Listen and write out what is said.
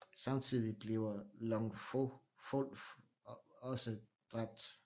Samtidig bliver Lo Fong også dræbt